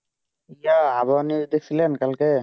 যা হাওয়া ছিলেন কালকে